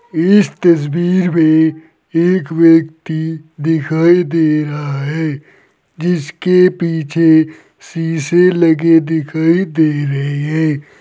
इस तस्वीर में एक व्यक्ति दिखाई दे रहा है जिसके पीछे शीशे लगे दिखाई दे रहे है।